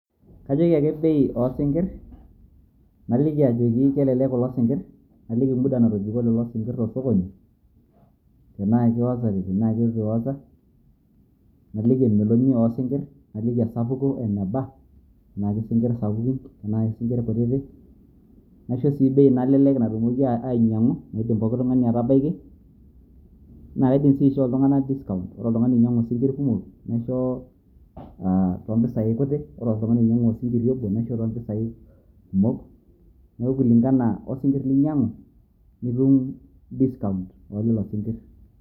kajoki ake bei oosinkir, naliki ajoki kelelek, kulo sinkir naliki muda natobiko lelo sinkir te sokoni, tenaakiwozate tenaa keitu iwoza, naliki emeloni oo sinkir, nalik esapuko eneba tenaa kesinkir sapukin tenaa sinkir kutitik. naisho sii bei nalelek natumoki ainyiang'u nidim pooki tung'ani atabaiki, naa kaidim sii aishoo iltung'ana discount ore oltung'ani oinyiang'u isinkir kumok, naisho too mpisai kutik, ore oltung'ani oinyiang'u osinkiri obo naisho too mpisai kumok, neeku kulingana osinkir linyiang'u nitum discount oo lelo sinkir.